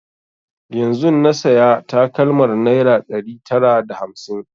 Yanzun na saya takalmar naira ɗari tara da hamsin